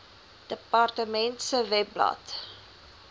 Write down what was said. departement se webblad